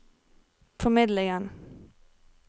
formidlingen